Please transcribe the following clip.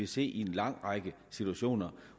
se i en lang række situationer